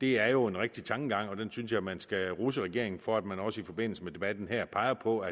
det er jo en rigtig tankegang og den synes jeg man skal rose regeringen for at den også i forbindelse med debatten her peger på